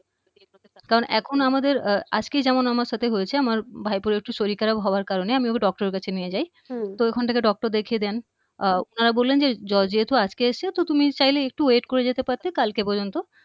কারণ এখন আমাদের আজকেই যেমন আমার সাথে হয়েছে আমার ভাইপোর একটু শরীর খারাপ হওয়ার কারণে আমি ওকে doctor এর কাছে নিয়ে যাই হম তো ওখান থেকে doctor দেখে দেন হম উনারা বললেন যে জ্বর যেহেতু আজকে এসছে তুমি চাইলে একটু wait করে যেতে পারতে কালকে পর্যন্ত